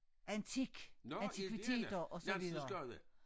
Antik antikviteter og så videre